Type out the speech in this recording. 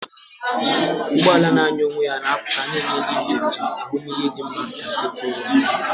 Ụgbọ ala na-anya onwe ya ga-apụta, na-enye ndị njem njem ahụmihe dị mma na nke kwụụrụ onwe ya.